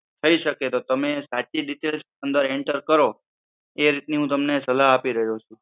થઈ શકે તો તમે સાચી રીતેજ enter કરો, એ રીત ની હુ તમને સલાહ આપી રહ્યો છું.